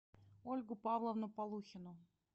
ольгу павловну полухину